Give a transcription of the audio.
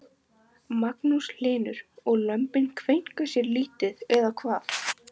Magnús Hlynur: Og lömbin kveinka sér lítið eða hvað?